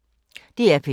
DR P2